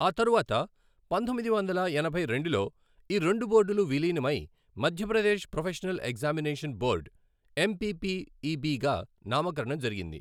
ఆ తరువాత, పంతొమ్మిది వందల ఎనభై రెండులో ఈ రెండు బోర్డులు విలీనమై మధ్యప్రదేశ్ ప్రొఫెషనల్ ఎగ్జామినేషన్ బోర్డు, ఎంపిపిఇబిగా నామకరణం జరిగింది.